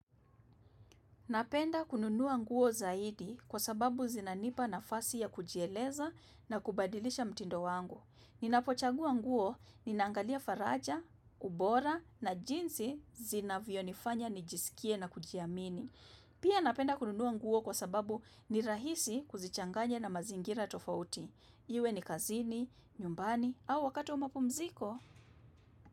Napenda kununua nguo zaidi kwa sababu zinanipa nafasi ya kujieleza na kubadilisha mtindo wangu. Ninapochagua nguo, nina angalia faraja, ubora na jinsi zinavyonifanya nijisikie na kujiamini. Pia napenda kununua nguo kwa sababu ni rahisi kuzichanganya na mazingira tofauti. Iwe ni kazini, nyumbani au wakati wa mapumziko.